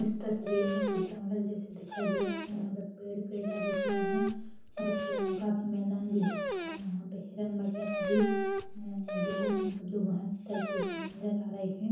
इस तस्वीर में कुछ जंगल जैसा दिखाई दे रहा है यहाँ पे पेड़-पेड़ लगे हुए है और कु काफी मैदान दिख रहा है यहाँ पे हिरन वगैरह भी जो मतलब जो घास चरति हुई नज़र आ रहे है।